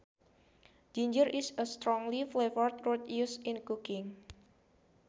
Ginger is a strongly flavored root used in cooking